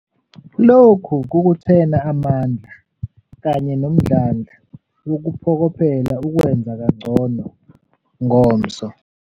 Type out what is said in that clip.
Lokhu kukuthena amandla kanye nomdlandla wokuphokophela ukwenza kangcono ngomso.